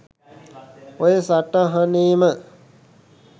ඔය සටහනේම